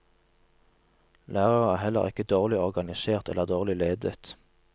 Lærere er heller ikke dårlig organisert eller dårlig ledet.